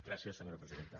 gràcies senyora presidenta